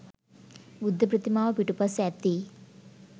බුද්ධ ප්‍රතිමාව පිටුපස ඇති